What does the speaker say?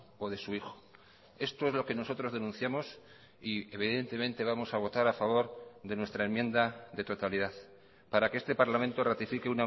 o de su hijo esto es lo que nosotros denunciamos y evidentemente vamos a votar a favor de nuestra enmienda de totalidad para que este parlamento ratifique